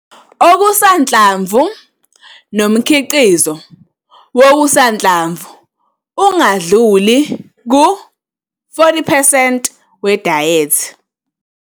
Okusanhlamvu nomkhiqizo wokusanhlamvu ungadluli ku-40 percent we dayethi